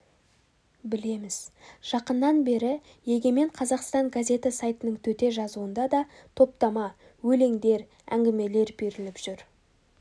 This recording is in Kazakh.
білеміз жақыннан бері егемен қазақстан газеті сайтының төте жазуында да топтама өлеңдер әңгімелер беріліп жүр